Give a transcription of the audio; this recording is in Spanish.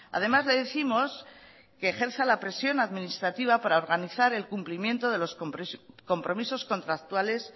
además le décimos que ejerza la presión administrativa para organizar el cumplimiento de los compromisos contractuales